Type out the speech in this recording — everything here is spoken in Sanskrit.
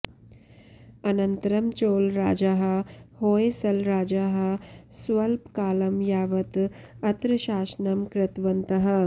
अनन्तरं चोळराजाः होय्सलराजाः स्वल्पकालं यावत् अत्र शासनम् कृतवन्तः